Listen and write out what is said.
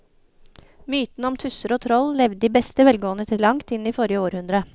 Mytene om tusser og troll levde i beste velgående til langt inn i forrige århundre.